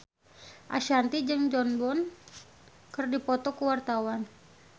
Ashanti jeung Jon Bon Jovi keur dipoto ku wartawan